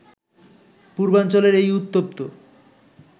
পূর্বাঞ্চলের এই উত্তপ্ত